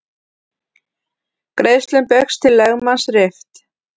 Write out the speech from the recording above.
Greiðslum Baugs til lögmanns rift